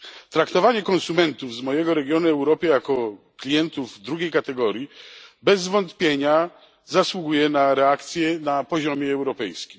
Traktowanie konsumentów z mojego regionu Europy jako klientów drugiej kategorii bez wątpienia zasługuje na reakcję na poziomie europejskim.